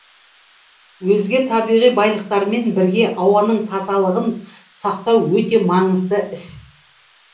өзге табиғи байлықтармен бірге ауаның тазалығын сақтау өте маңызды іс